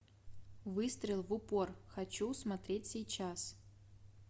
выстрел в упор хочу смотреть сейчас